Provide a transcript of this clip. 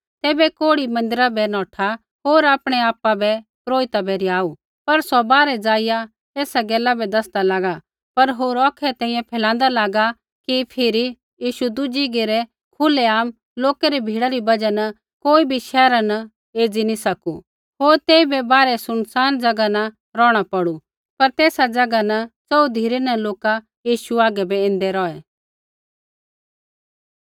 तैबै कोढ़ी मन्दिरा बै नौठा होर आपणैआपा बै पुरोहिता बै रिहाऊ पर सौ बाहरै जाईया ऐसा गैला बै दैसदा लागा पर होर औखै तैंईंयैं फैलांदा लागा कि फिरी यीशु दुज़ी घेरै खुलेआम लोका री भीड़ा री बजहा न कोई बी शैहरा न एज़ी न सकू होर तेइबै बाहरै सुनसान ज़ैगा न रौहणा पौड़ू पर तेसा ज़ैगा न च़ोहू धिरै न लोका यीशु हागै बै ऐन्दै रौहे